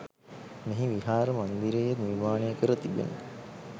මෙහි විහාර මන්දිරයේ නිර්මාණය කර තිබෙන